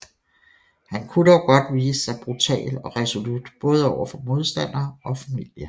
Han kunne dog godt vise sig brutal og resolut både over for modstandere og familie